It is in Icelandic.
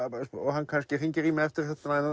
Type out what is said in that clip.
hann kannski hringir í mig eftir að